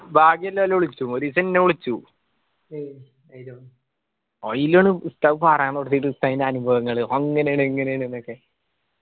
ഭാഗിയുല്ലോല വിളിച്ചു ഒരീസം ഇന്നേ വിളിച്ചു അയിനാണ് ഉസ്താദ് പറയാൻ ഉസ്താദിന്റെ അനുഭവങ്ങള് അങ്ങനേണ് ഇങ്ങനേണ് ന്നൊക്കെ